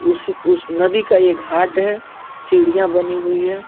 उसी उस नदी का ये घाट है। सीढियां बनी हुई है।